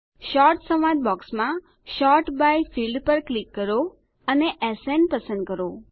sort સંવાદ બૉક્સમાં sort by field પર ક્લિક કરો અને એસએન પસંદ કરો